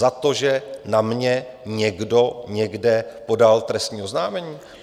Za to, že na mě někdo někde podal trestní oznámení?